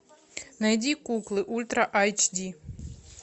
найди куклы ультра айч ди